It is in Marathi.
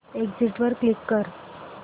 एग्झिट वर क्लिक कर